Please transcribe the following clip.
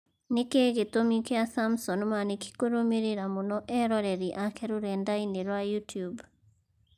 Nĩkĩĩ gĩtũmi kĩa Samson Mwanĩki kũrũmĩrĩra mũno eroreri ake rũrenda-inĩ rwa youtube